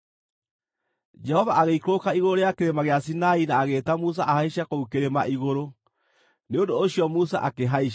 Jehova agĩikũrũka igũrũ rĩa Kĩrĩma gĩa Sinai na agĩĩta Musa ahaice kũu kĩrĩma igũrũ. Nĩ ũndũ ũcio Musa akĩhaica,